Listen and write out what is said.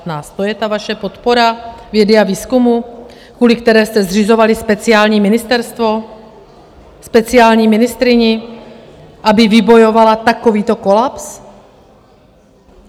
To je ta vaše podpora vědy a výzkumu, kvůli které jste zřizovali speciální ministerstvo, speciální ministryni, aby vybojovala takovýto kolaps?